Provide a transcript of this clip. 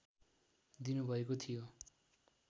दिनुभएको थियो